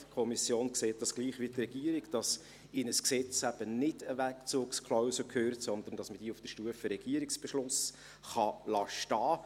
Die Kommission sieht dies gleich wie die Regierung, dass in ein Gesetz eben keine Wegzugsklausel gehört, sondern, dass man diese auf der Stufe RRB stehen lassen kann.